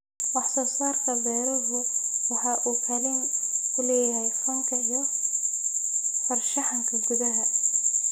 Wax-soo-saarka beeruhu waxa uu kaalin ku leeyahay fanka iyo farshaxanka gudaha.